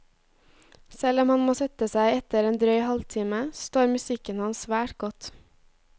Selv om han må sette seg etter en drøy halvtime, så står musikken hans svært godt.